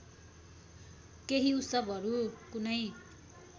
केही उत्सवहरू कुनै